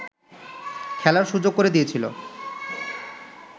খেলার সুযোগ করে দিয়েছিল